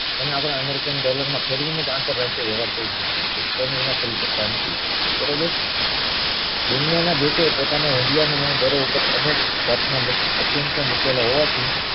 તેને આપણે American dollar માં ફેરવી ને જ આંતરરાષ્ટ્રીય વેવાર કય શકીયે છીએ તેની વિના કરી સકતા નથી બરોબર દુનિયા ના દેશો એ પોતાના હુંડિયામણો દર અનેક જાત ના અસંખ્ય મુકેલો હોવાથી